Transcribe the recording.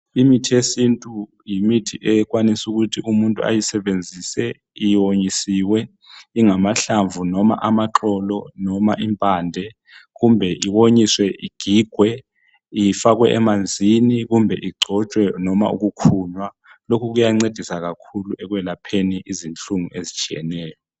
Imithi yesintu yimithi ekwanisa ukuthi umuntu ayisebenzise iwonyisiwe ingamahlavu noma amaxolo noma impande , kumbe iwonyisiwe igigwe ifakwe emanzini kumbe igcotshwe noma ukukhunywa lokhu kuyancedisa kakhulu ekwelapheni izihlungu ezitshiyeneyo.